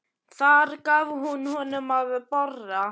Þar gaf hún honum að borða.